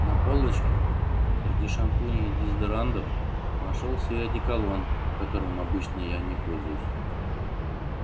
на полочке среди шампуней и дезодорантов нашёлся и одеколон которым обычно я не пользуюсь